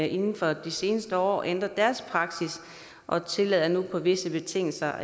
inden for de seneste år ændret deres praksis og tillader nu på visse betingelser